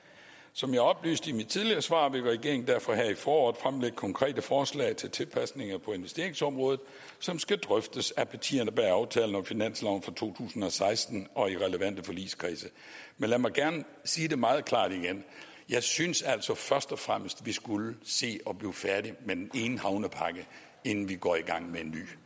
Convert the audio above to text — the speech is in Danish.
som jeg oplyste i mit tidligere svar vil regeringen derfor her i foråret fremlægge konkrete forslag til tilpasninger på investeringsområdet som skal drøftes af partierne bag aftalen om finansloven for to tusind og seksten og i relevante forligskredse men lad mig gerne sige det meget klart igen jeg synes altså først og fremmest vi skulle se at blive færdige med den ene havnepakke inden vi går i gang med en ny